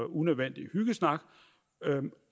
unødvendig hyggesnak